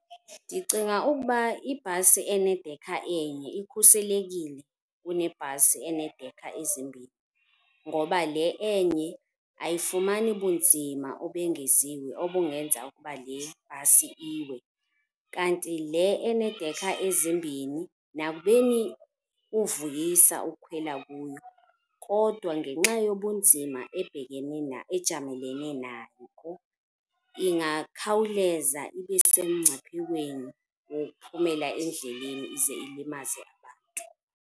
Ndicinga ukuba ibhasi enedekha enye ikhuselekile kunebhasi enedekha ezimbhini ngoba le enye ayifumani bunzima obengeziwe obungenza ukuba le bhasi iwe. Kanti le enedekha ezimbhini nakubeni kuvuyisa ukukhwela kuyo kodwa ngenxa yobunzima ejamelene nako ingakhawuleza ibe sebungciphekweni wokuphumela endleleni ze ilimaze abantu.